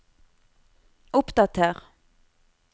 oppdater